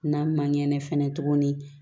N'a ma ɲɛ fɛnɛ tuguni